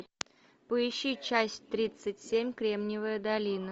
поищи часть тридцать семь кремниевая долина